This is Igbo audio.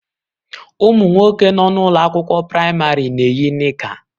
Ụmụ nwoke nọ n'ụlọ akwụkwọ praịmarị na-eyi nika